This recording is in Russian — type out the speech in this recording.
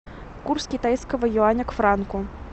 курс китайского юаня к франку